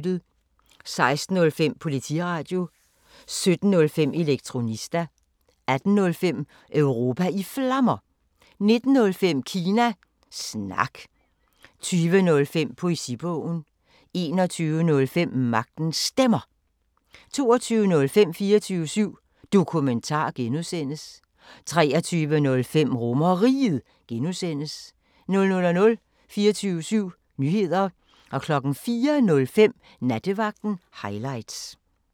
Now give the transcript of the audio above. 16:05: Politiradio 17:05: Elektronista 18:05: Europa i Flammer 19:05: Kina Snak 20:05: Poesibogen 21:05: Magtens Stemmer 22:05: 24syv Dokumentar (G) 23:05: RomerRiget (G) 00:00: 24syv Nyheder 04:05: Nattevagten Highlights